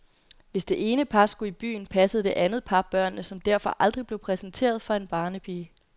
Hvis det ene par skulle i byen, passede det andet par børnene, som derfor aldrig blev præsenteret for en barnepige.